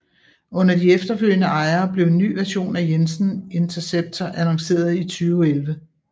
Under de efterfølgende ejere blev en ny version af Jensen Interceptor annonceret 2011